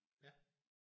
Ja